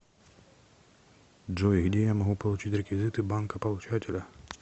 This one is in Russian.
джой где я могу получить реквизиты банка получателя